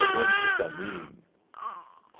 Erramos o caminho.